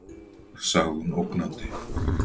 sagði hún ógnandi.